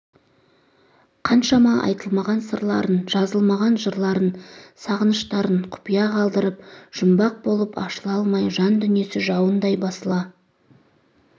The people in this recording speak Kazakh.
қаншама айтылмаған сырларын жазылмаған жырларын сағыныштарын құпия қалдырып жұмбақ болып ашыла алмай жан дүниесі жауындай басыла